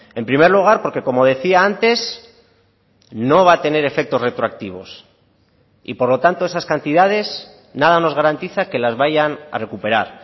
en primer lugar porque como decía antes no va a tener efectos retroactivos y por lo tanto esas cantidades nada nos garantiza que las vayan a recuperar